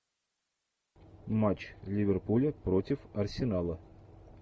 матч ливерпуля против арсенала